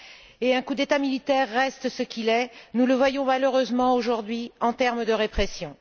Et un coup d'État militaire reste ce qu'il est, nous le voyons malheureusement aujourd'hui, en termes de répression.